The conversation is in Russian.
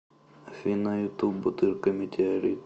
афина ютуб бутырка метеорит